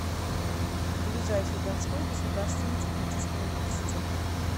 ближайший донской государственный технический университет